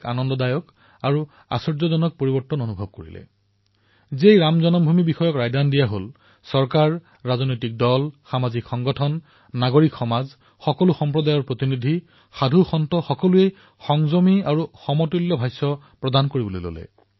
এফালে দুসপ্তাহ পৰ্যন্ত পৰিবেশ উত্তালৰ বাবে বিভিন্ন পৰিস্থিতিৰ সৃষ্টি কৰা হল কিন্তু যেতিয়া ৰাম জন্মভূমি সন্দৰ্ভত ৰায়দান কৰা হল তেতিয়া চৰকাৰে ৰাজনৈতিক দলে সামাজিক সংগঠনে সমাজে সকলো সম্প্ৰদায়ৰ প্ৰতিনিধিয়ে সাধুসন্তই অতিশয় সন্তুলিত ৰূপত তথা সংযমেৰে নিজৰ বক্তব্য প্ৰদান কৰিলে